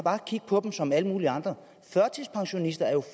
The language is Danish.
kigge på som på alle mulige andre førtidspensionister er jo